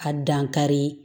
A dankari